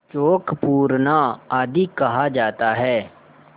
चौक पूरना आदि कहा जाता है